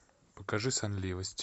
покажи сонливость